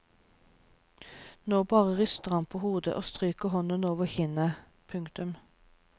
Nå bare ryster han på hodet og stryker hånden over kinnet. punktum